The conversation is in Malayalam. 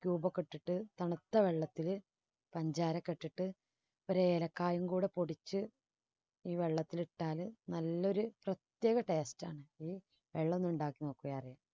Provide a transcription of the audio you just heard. cube ഒക്കെ ഇട്ടിട്ട് തണുത്ത വെള്ളത്തില് പഞ്ചാര ഒക്കെ ഇട്ടിട്ട് ഒരു ഏലക്കായും കൂടി പൊടിച്ച് ഈ വെള്ളത്തിൽ ഇട്ടാല് നല്ലൊരു ചക്കര taste ാണ് വെള്ളമുണ്ടാക്കി നോക്കിയാൽ അറിയാം.